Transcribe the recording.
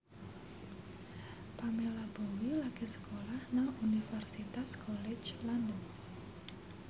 Pamela Bowie lagi sekolah nang Universitas College London